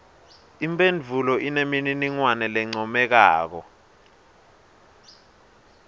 imphendvulo inemininingwane lencomekako